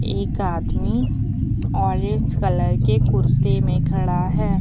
एक आदमी orange colour के कुर्ते में खड़ा है।